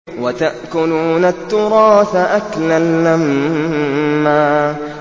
وَتَأْكُلُونَ التُّرَاثَ أَكْلًا لَّمًّا